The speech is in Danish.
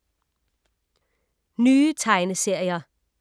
Nye tegneserier